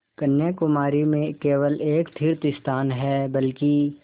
कन्याकुमारी में केवल एक तीर्थस्थान है बल्कि